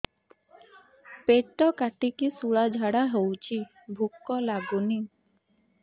ପେଟ କାଟିକି ଶୂଳା ଝାଡ଼ା ହଉଚି ଭୁକ ଲାଗୁନି